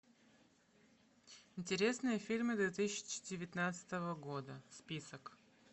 интересные фильмы две тысячи девятнадцатого года список